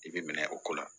I bɛ minɛ o ko la